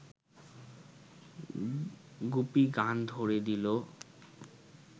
গুপি গান ধ’রে দিল